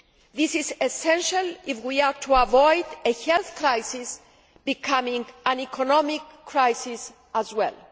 This is essential if we are to avoid a health crisis becoming an economic crisis as well.